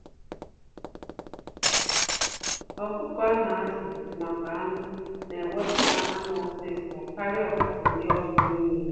Ọkụkọ a na-azu maka anụ na eweputa anụ ọsịsọ karịa ọkụkọ ndị ọzọ n'ile.